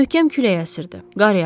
Möhkəm külək əsirdi, qar yağırdı.